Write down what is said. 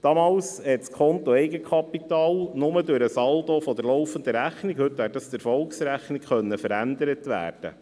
Damals konnte das Konto Eigenkapital nur durch den Saldo der Laufenden Rechnung – heute wäre das die Erfolgsrechnung – verändert werden.